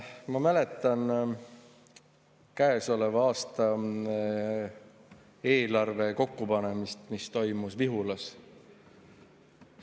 Ma mäletan käesoleva aasta eelarve kokkupanemist, mis toimus Lihulas.